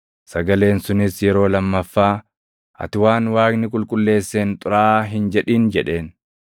Sagaleen sunis yeroo lammaffaa, “Ati waan Waaqni qulqulleesseen xuraaʼaa hin jedhin” jedheen.